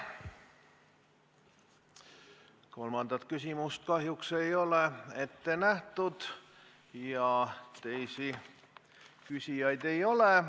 Kolmandat küsimust kahjuks ei ole ette nähtud ja teisi küsijaid ei ole.